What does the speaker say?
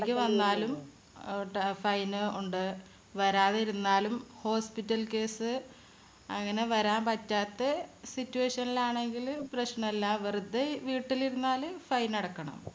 വന്നാലും അഹ് അഹ് fine ഉണ്ട്. വരാതിരുന്നാലും hospital case അങ്ങനെ വരാൻ പറ്റാത്ത situation ലാണെങ്കില് പ്രശ്നല്ല. വെറുതെ വീട്ടിലിരുന്നാല് fine അടക്കണം.